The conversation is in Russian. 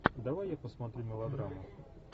давай я посмотрю мелодраму